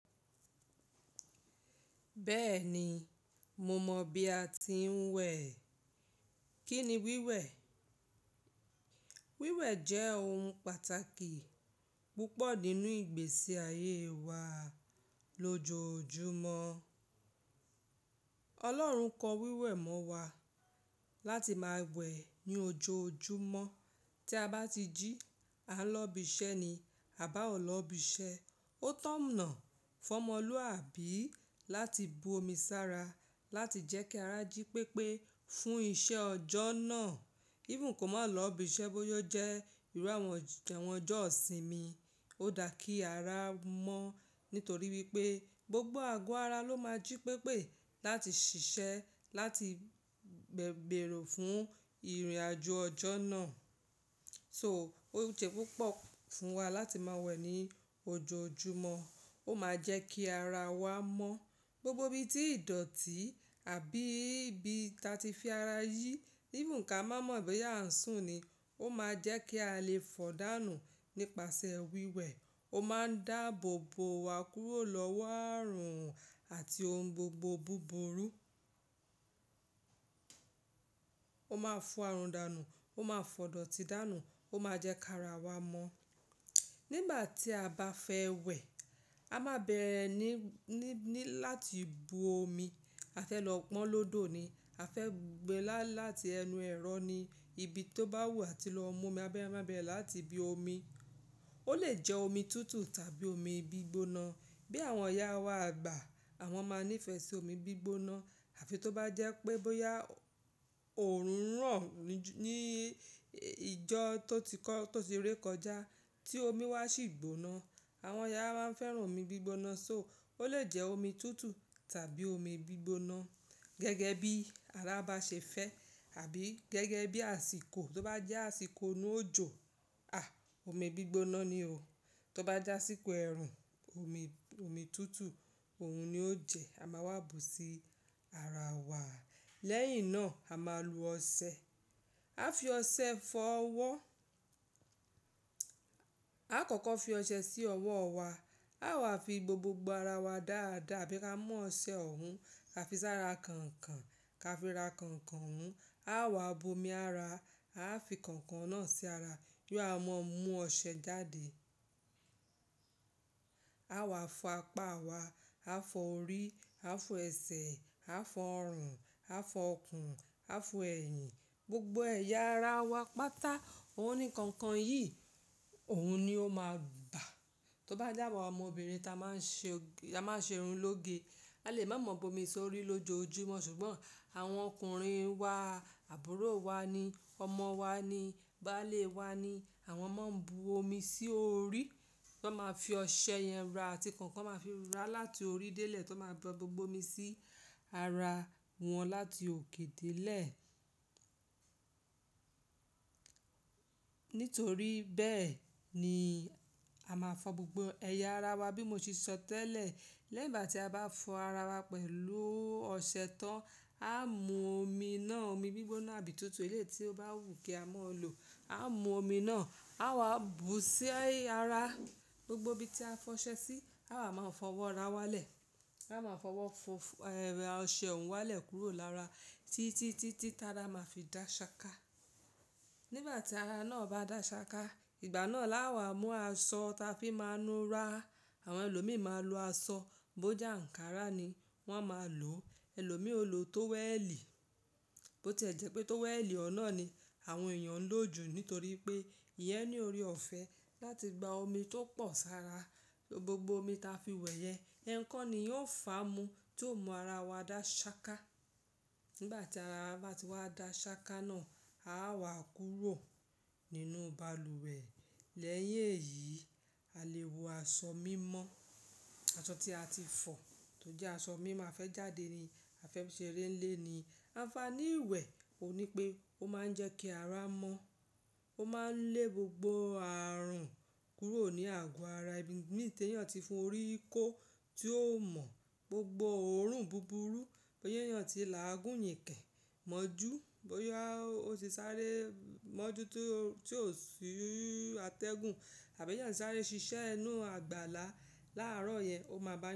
Bẹ́ẹ̀ni, mo mọ̀ bí a ti ń wẹ̀. Kí ni wíwẹ̀? Wíwẹ̀ jẹ́ ohun pàtàkì púpọ̀ nínú ìgbésí ayé wa lójoojúmọ́. Ọlọ́run kọ wíwẹ̀ mọ́ wa láti máa wẹ̀ ní ojoojúmọ́. Tí a bá ti jí, à ń lọ ibi iṣẹ́ ni, a bá ò lọ ibi iṣẹ́, ó tọ̀nà fún ọmọlúwàbí láti bu omi sára láti jẹ́ kí ara jí pépé fún iṣẹ́ ọjọ́ náà. Even kò má lọ ibi iṣẹ́ bóyá jẹ́ irú àwọn ìjọ ìsinmi, ó dá kí ara mọ́. Nítorí wípé gbogbo àgọ́ ara ló máa jí pépé láti ṣiṣẹ́, láti gbèrò fún ìrìnàjò ọjọ́ náà. So ó jẹ́ púpọ̀ fún wa láti máa wẹ̀ ní ojoojúmọ́. Ó máa jẹ́ kí ara wa mọ́. Gbogbo ibi tí ìdọ̀tí àbí ibi tí a ti fi ara yí, even ká má mọ̀ bóyá à ń sùn ni, ó máa jẹ́ kí a lè fọ̀dánù nípasẹ̀ wíwẹ̀. Ó máa ń dáàbò bò wá kúrò lọ́wọ́ àrùn àti ohun gbogbo búburú. Ó máa fo àrùn dánù, ó máa fọ̀dọ̀tí dánù, ó máa jẹ́ kí ara wa mọ́. Nígbà tí a bá fẹ́ wẹ̀, a máa bẹ̀rẹ̀ ní, ní, ní láti bu omi. A fẹ́ lọ pọ́n lódò ni. A fẹ́ gbe láti ẹnu ẹ̀rọ ni, ibi tó bá wù wá tí lọ mú omi abẹ́rẹ́ abẹ́rẹ́ láti ibi omi. Ó lè jẹ́ omi tútù tàbí omi gbígbóná. Bí àwọn ìyá wa àgbà, àwọn máa ń nífẹ̀ẹ́ sí omi gbígbóná. Àfi tó bá jẹ́ pé bóyá òórùn hàn ní ìjọ tó ti kọ́, tó ti re kọjá tí omi wá sì gbóná. Àwọn ìyá máa ń fẹ́ràn omi gbígbóná. So ó lè jẹ́ omi tútù tàbí omi gbígbóná. Gẹ́gẹ́ bí ara bá ṣe fẹ́ àbí gẹ́gẹ́ bí àsìkò. Tó bá jẹ́ àsìkò inú òjò, a! Omi gbígbóná ni o. Tó bá jẹ́ àsìkò ẹ̀rùn, omi, omi tútù, òun ni ó jẹ. A máa wá bu sí ara wa. Lẹ́yìn náà a máa lu ọṣẹ. A fi ọṣẹ fọ ọwọ́. A kọ̀kọ́ fi ọṣẹ sí ọwọ́ wa. A wá fi gbo gbogbo ara wa dáadáa. Bí ká mú ọṣẹ òhun, a fi sára kànkàn, ká fi ra kànkàn òun. A wá bu omi ara, a fi kànkàn náà sí ara. Bí a mọ̀ mú ọṣẹ jáde. A wá fọ apá wa, a fọ orí, a fọ ẹsẹ̀, a fọ ọrùn, a fọ ikùn, a fọ ẹ̀yìn, gbogbo ẹ̀yà ara wa pátá. Ohun ni kankan yìí, òun ni ó máa bà. Tó bá jẹ́, àwàn ọmọbìnrin tá máa ń ṣe òge tá máa ń ṣe irun lóge, a lè má mọ̀ bu omi sórí lójoojúmọ́. Ṣùgbọ́n àwọn ọkùnrin wa, àbúrò wa ni, ọmọ wa ni, bàlé wa ni, àwọn máa ń bu omi sí orí. Wọ́n máa fi ọṣẹ yẹn ra àti kànkàn máa fi ra láti orí dé lẹ̀ tó máa gba gbogbo omi sí ara wọn láti òkè dé lẹ̀. Nítorí bẹ́ẹ̀ ni a máa fọ gbogbo ẹ̀yà ara wa bí mo ṣe sọ tẹ́lẹ̀. Lẹ́yìn ìgbà tí a bá fọ ara wa pẹ̀lú ọṣẹ tán, a mú omi náà, omi gbígbóná àbí tútù, eléyìí tí ó bá wù kí a máa lò, a mú omi náà, a wá bu sí ara gbogbo ibi tí a fọ ọṣẹ sí. A wá máa fọwọ́ ra wá lẹ̀. A máa fọwọ́ fún ẹ̀hn ọṣẹ òhun wá lẹ̀ kúrò lára títí, títí tará máa fi dá ṣaka. Nígbà tí ara náà bá dá ṣaka, ìgbà náà la wá mú aṣọ tá fi ń máa nu ra. Àwọn ẹlòmíràn máa ń lo aṣọ, bóje ańkàrà ni wọ́n máa ń lò. Ẹlòmíì ò lo tówẹ́ẹ̀lì, bó ti jẹ́ pé tówẹ́ẹ̀lì ọ̀un ná ni àwọn èèyàn ń lò jù nítorí pé ìyẹn ní orí ọ̀fẹ́ láti gba omi tó pọ̀ sára. Gbogbo omi tá fi wẹ̀ yẹn, ẹ̀n kan níyẹn o fà mú tí ó mú ara wa dá ṣaka. Nígbà tí ara wa bá ti wá dá ṣaka náà, a wá kúrò nínú balùwẹ̀. Lẹ́yìn èyí, a lè wọ aṣọ mímọ́. Aṣọ tí a ti fọ̀ tó jẹ́ aṣọ mìí mà fẹ́ jáde ni. A fẹ́ ṣe eré ń ilé ni. Àǹfààní ìwẹ̀ ò ní pé ó máa ń jẹ́ kí ara mọ́. Ó máa ń lé gbogbo àrùn kúrò ní àgọ́ ara. Ìbi mi tí èèyàn ti fi orí kó tí ó mọ̀ gbogbo òórùn búburú bóyá èèyàn ti làágún, yìnkẹ́, mọ́jú, bóyá ó ti sáré mọ́jú tí ó sì atẹ́gùn àbí èèyàn sáré ṣiṣẹ́ inú àgbàlá láàárọ̀ yẹn, ó máa bà.